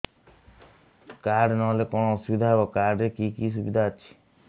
card ନହେଲେ କଣ ଅସୁବିଧା ହେବ କାର୍ଡ ରେ କି କି ସୁବିଧା ଅଛି